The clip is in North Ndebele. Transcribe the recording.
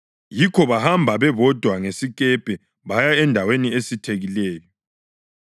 Yikho bahamba bebodwa ngesikepe baya endaweni esithekileyo.